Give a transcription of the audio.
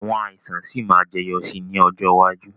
Àwọn àìsàn sì máa jẹyọ sì ni ọjọ́ iwájú